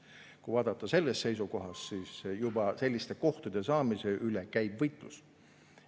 Kui vaadata sellest seisukohast, siis näeme, et juba selliste kohtade saamise pärast käib võitlus.